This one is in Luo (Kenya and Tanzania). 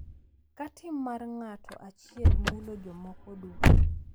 Ka tim mar ng’ato achiel mulo jomoko duto.